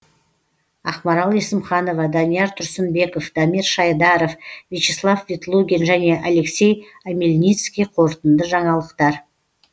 ақмарал есімханова данияр тұрсынбеков дамир шайдаров вячеслав ветлугин және алексей омельницкий қорытынды жаңалықтар